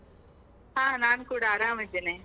ಹಾ ನಾನು ಕೂಡ ಆರಾಮಿದ್ದೇನೆ.